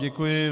Děkuji.